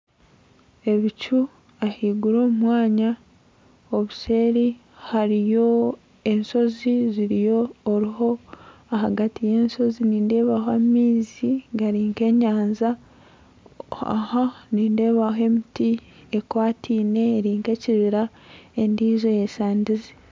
Ebicu ahaiguru omu mwanya obuseeri hariyo enshozi ziriho oriho ahagati yenshozi nindeebaho amaizi gari nk'enyanja aha nindeebaho emiti ekwatiine eri nk'ekibira endiijo eyesandize